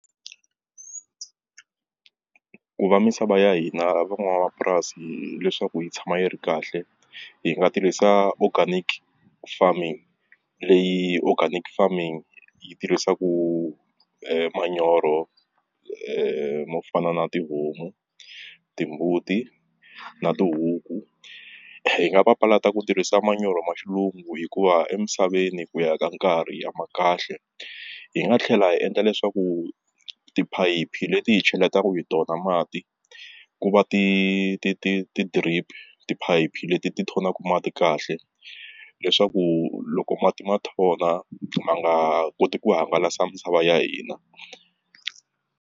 Ku va misava ya hina van'wamapurasi leswaku yi tshama yi ri kahle hi nga tirhisa organic farming leyi organic farming yi tirhisaku manyoro mo fana na tihomu timbuti na tihuku hi nga papalata ku tirhisa manyoro ma xilungu hikuva emisaveni ku ya ka nkarhi a ma kahle hi nga tlhela hi endla leswaku tiphayiphi leti hi cheletaka hi tona mati ku va ti ti ti ti-drip tiphayiphi leti ti thonaka mati kahle leswaku loko mati ma thona ma nga koti ku hangalasa misava ya hina.